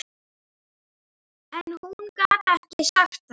En hún gat ekki sagt það.